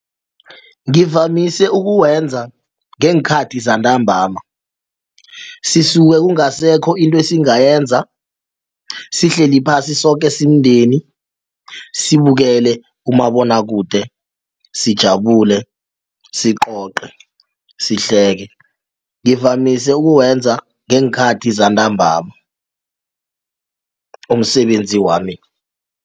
Ngivamise ukuwenza ngeenkhathi zantambama sisuke kungasekho into esingayenza sihleli phasi soke simndeni sibukele umabonwakude sijabulele, sicoce, sihleke ngivamise ukuwenza ngeenkhathi zantambama umsebenzi wami.